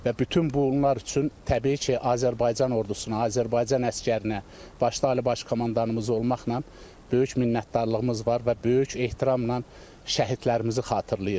Və bütün bunlar üçün təbii ki, Azərbaycan ordusuna, Azərbaycan əsgərinə, başda Ali Baş Komandanımız olmaqla böyük minnətdarlığımız var və böyük ehtiramla şəhidlərimizi xatırlayırıq.